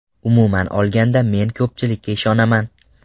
Umuman olganda, men ko‘pchilikka ishonaman.